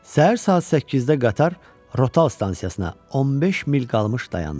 Səhər saat 8-də qatar Rotal stansiyasına 15 mil qalmış dayandı.